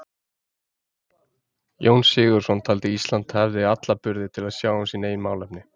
Jón Sigurðsson taldi að Ísland hefði alla burði til að sjá um sín eigin málefni.